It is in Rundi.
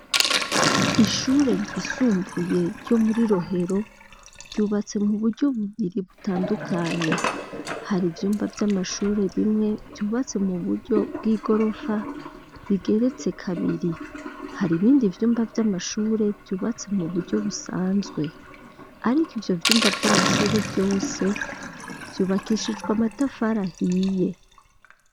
Ishure ryisumbuye, ryo muri Rohero, ryubatse mu buryo buburi butandukanye; hari ivyumba vy’amashure bimwe, vyubatse mu buryo bw'igorofa, igeretse kabiri; hari ibindi vyumba vy'amashure, vyubatse mu buryo busanzwe; ariko, ivyo vyumba vy'amashure vyose, vyubakishijwe amatafari ahiye.